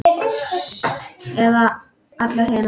Eða allar hinar?